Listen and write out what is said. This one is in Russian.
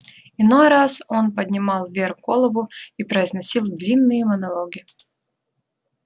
иной раз он поднимал вверх голову и произносил длинные монологи